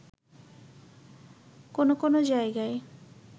কোনো কোনো জায়গায়